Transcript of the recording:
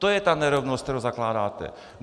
To je ta nerovnost, kterou zakládáte.